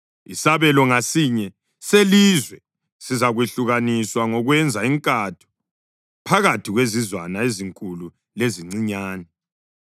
Isabelo ngasinye selizwe sizakwehlukaniswa ngokwenza inkatho phakathi kwezizwana ezinkulu lezincinyane.”